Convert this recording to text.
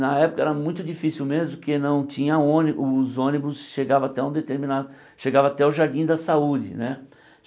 Na época era muito difícil mesmo, porque não tinha ôni os ônibus chegavam até um determinado chegavam até o Jardim da Saúde né.